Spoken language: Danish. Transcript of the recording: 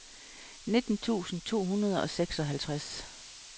nitten tusind to hundrede og seksoghalvtreds